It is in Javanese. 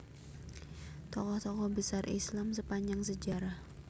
Tokoh tokoh Besar Islam Sepanjang Sejarah